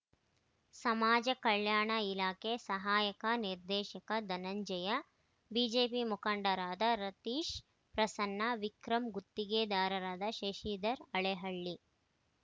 ಸಮಾಜ ಕಲ್ಯಾಣ ಇಲಾಖೆ ಸಹಾಯಕ ನಿರ್ದೇಶಕ ಧನಂಜಯ ಬಿಜೆಪಿ ಮುಖಂಡರಾದ ರತೀಶ್‌ ಪ್ರಸನ್ನ ವಿಕ್ರಂ ಗುತ್ತಿಗೆದಾರರಾದ ಶಶಿಧರ್‌ ಹಳೆಹಳ್ಳಿ